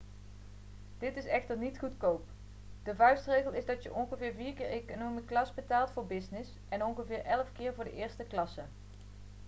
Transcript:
dit is echter niet goedkoop de vuistregel is dat je ongeveer vier keer economy class betaalt voor business en ongeveer elf keer voor de eerste klasse